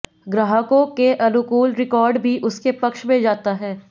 ग्राहकों के अनुकूल रिकॉर्ड भी उसके पक्ष में जाता है